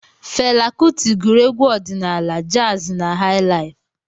Fela Kuti gụrụ egwu ọdịnaala, jazi na hai laif.